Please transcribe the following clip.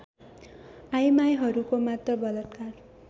आइमाइहरूको मात्र बलात्कार